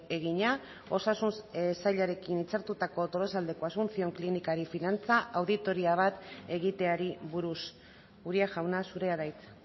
egina osasun sailarekin hitzartutako tolosaldeko asunción klinikari finantza auditoria bat egiteari buruz uria jauna zurea da hitza